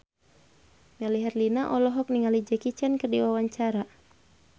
Melly Herlina olohok ningali Jackie Chan keur diwawancara